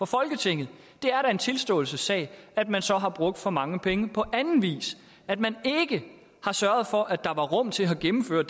folketinget det er da en tilståelsessag at man så har brugt for mange penge på anden vis at man ikke har sørget for at der var rum til at gennemføre